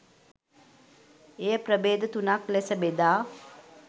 එය ප්‍රභේද තුනක් ලෙස බෙදා